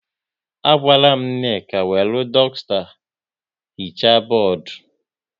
A gwara Nneka wéré dusta hichaa bọọdụ